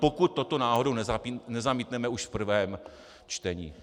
Pokud toto náhodou nezamítneme už v prvém čtení.